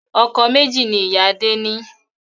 Ọkọ̀ méjì ni ìyá Adé ni